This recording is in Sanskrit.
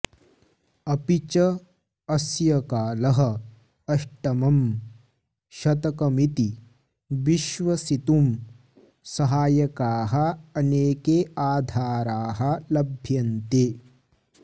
अपिच अस्य कालः अष्टमम् शतकमिति विश्वसितुं सहायकाः अनेके आधाराः लभ्यन्ते